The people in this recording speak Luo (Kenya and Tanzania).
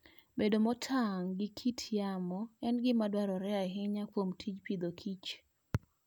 Bedo motang' gi kit yamo, en gima dwarore ahinya kuom tij Agriculture and Food.